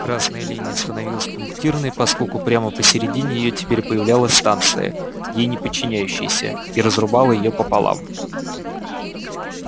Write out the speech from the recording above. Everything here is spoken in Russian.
красная линия становилась пунктирной поскольку прямо посередине её теперь появлялась станция ей не подчиняющаяся и разрубала её пополам